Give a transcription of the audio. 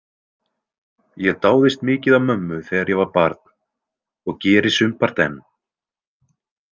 Ég dáðist mikið að mömmu þegar ég var barn og geri sumpart enn.